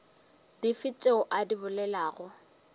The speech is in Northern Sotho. dife tšeo o di bolelago